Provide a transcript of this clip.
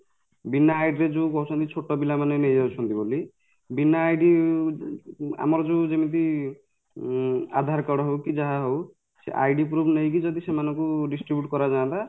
ବିନା Lang: ForeignID Lang: Foreign ରେ ଯୋଉ କହୁଛନ୍ତି ଛୋଟପିଲା ମାନେ ନେଇଯାଉଛନ୍ତି ବୋଲି ବିନା Lang: ForeignID Lang: Foreignଆମର ଯୋଉ ଯେମିତି ଉଁ ଆଧାର card ହଉ କି ଯାହା ହଉ ସେ Lang: ForeignID Lang: Foreignprove ନେଇକି ଯଦି ସେମାନଙ୍କୁ distribute କରାଯାନ୍ତା